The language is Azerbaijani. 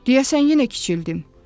Deyəsən yenə kiçildim.